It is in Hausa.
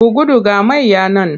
Ku gudu ga mayya nan!